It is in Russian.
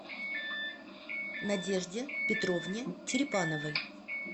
надежде петровне черепановой